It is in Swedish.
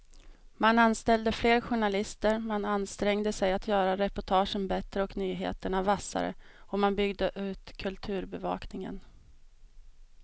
Man anställde fler journalister, man ansträngde sig att göra reportagen bättre och nyheterna vassare och man byggde ut kulturbevakningen.